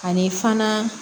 Ani fana